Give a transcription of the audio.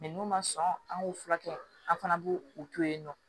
n'u ma sɔn an k'u furakɛ an fana b'u u to yen nɔ